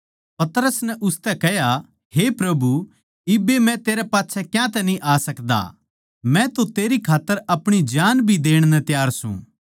पतरस नै उसतै कह्या हे प्रभु इब्बे मै तेरै पाच्छै क्यातै न्ही आ सकदा मै तो तेरी खात्तर अपणी जान भी देण खात्तर तैयार सूं